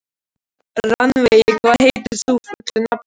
Rannveig, hvað heitir þú fullu nafni?